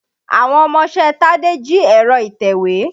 Àwọn ọmọṣẹ́ Tádé jí ẹ̀rọ ìtèwé.